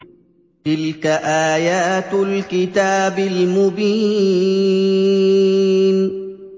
تِلْكَ آيَاتُ الْكِتَابِ الْمُبِينِ